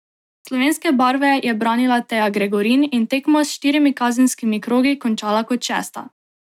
Slovenske barve je branila Teja Gregorin in tekmo s štirimi kazenskimi krogi končala kot šesta.